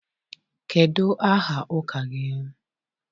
Kedu aha ụka gị?